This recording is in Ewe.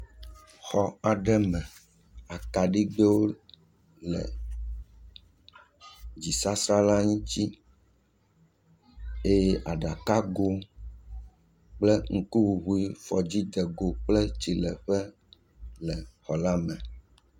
Xɔ aɖe me akaɖigbewo le dzisasa la ŋuti eye aɖakago kple ŋkuŋuŋu fɔdzidego kple tsiléƒe le xɔ la me.